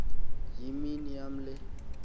yimini yam le